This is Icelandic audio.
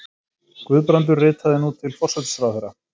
Guðbrandur ritaði nú til forsætisráðherra